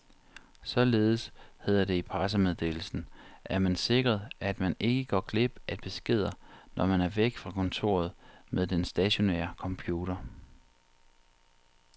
Således, hedder det i pressemeddelelsen, er man sikret, at man ikke går glip af beskeder, når man er væk fra kontoret med den stationære computer.